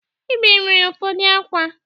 Ibim sịrị ụfọdụ ákwá.